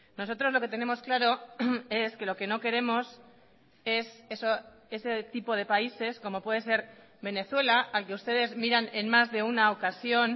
nosotros lo que tenemos claro es que lo que no queremos es eso ese tipo de países como puede ser venezuela al que ustedes miran en más de una ocasión